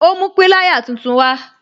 Ó mú pilaya tuntun wa